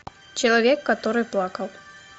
человек который плакал